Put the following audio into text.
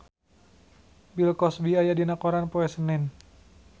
Bill Cosby aya dina koran poe Senen